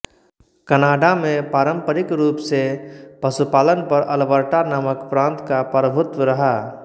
Canada में पारंपरिक रूप से पशुपालन पर अल्बर्टा नामक प्रांत का प्रभुत्व रहा